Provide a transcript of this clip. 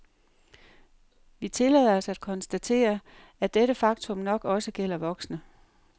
Vi tillader os at konstatere, at dette faktum nok også gælder voksne.